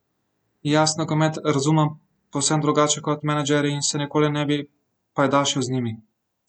Jaz nogomet razumem povsem drugače kot menedžerji in se nikoli ne bi pajdašil z njimi.